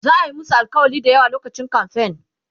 za'a Yi musu alkawali da yawa lokacin kamfen